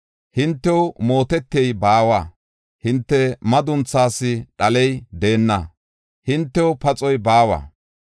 Hintew mootetey baawa; hinte madunthaas dhaley deenna; hintew paxoy baawa.